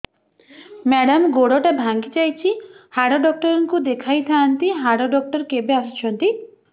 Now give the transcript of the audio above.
madam ଗୋଡ ଟା ଭାଙ୍ଗି ଯାଇଛି ହାଡ ଡକ୍ଟର ଙ୍କୁ ଦେଖାଇ ଥାଆନ୍ତି ହାଡ ଡକ୍ଟର କେବେ ଆସୁଛନ୍ତି